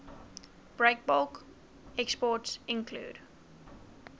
breakbulk exports include